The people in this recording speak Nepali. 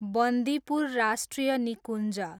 बन्दीपुर राष्ट्रिय निकुञ्ज